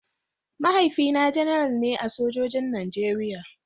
Mahaifina Janar ne a sojojin Najeriya.